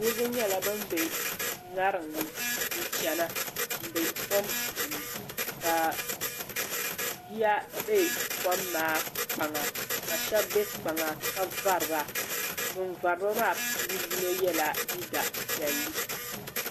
niriba nyɛla ban be ŋarim ni n-chana m-be kom puuni ka yiya be kom maa kpaŋa ka shɛba be kpaŋa ka vari ba ban vari ba maa puuni yino yela liiga piɛlli.